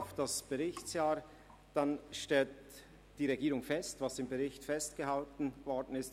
Auf das Berichtsjahr zurückblickend, stellt die Regierung einen «Courant normal» fest, wie es auch im Bericht festgehalten worden ist.